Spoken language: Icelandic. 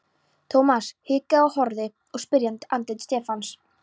Thomas hikaði og horfði í spyrjandi andlit Stefáns.